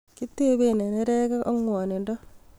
Kitebe eng nerekek ak ngwonindo